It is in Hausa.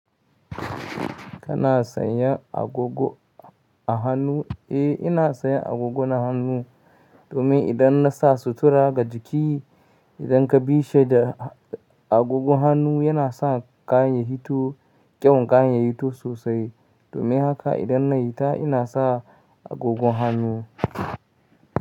Kana sayan agogo a hannu? Eh, ina sayan agogo na hannu domin idan na sa sutura ga jiki, idan ka bishi da agogon hannu yana sa kayan ya fito, kyawun kayan ya fito sosai. Domin haka idan na yi ta ina sa agogon hannu.